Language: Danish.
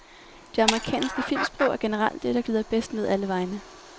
Det amerikanske filmsprog er generelt det, der glider bedst ned alle vegne.